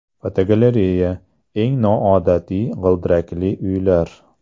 Fotogalereya: Eng noodatiy g‘ildirakli uylar.